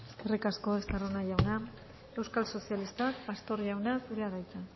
eskerrik asko estarrona jauna euskal sozialistak pastor jauna zurea da hitza